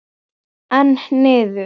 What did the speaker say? Einn niður.